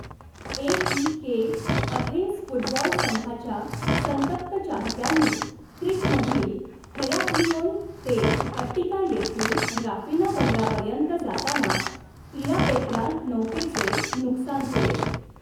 AEK. Athens football संघाच्या संतप्त चाहत्यांनी क्रीटमधील हेराक्लिओन ते अट्टीका येथील राफिना बंदरापर्यंत जाताना 'इरापेत्रा' नौकेचे नुकसान केले.